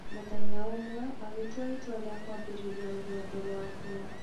Mũthenya ũmwe agĩtua itua rĩa kwambĩrĩria rũgendo rwake.